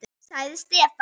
sagði Stefán.